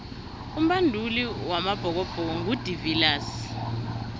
umbanduli wamabhokobhoko ngu de viliers